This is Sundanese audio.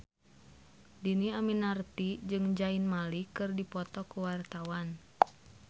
Dhini Aminarti jeung Zayn Malik keur dipoto ku wartawan